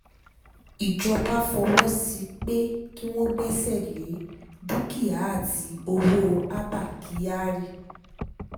ìjọba fọwọ́ sí i pé kí wọ́n gbẹ́sẹ̀ lé dúkìá àti ọwọ́ abba kyari